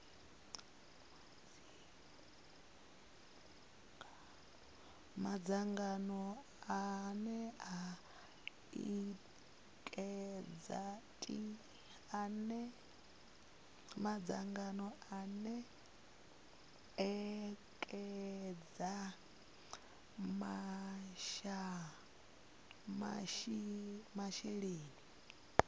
madzangano ane a ekedza masheleni